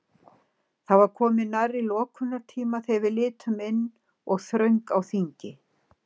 Það var komið nærri lokunartíma þegar við litum inn og þröng á þingi.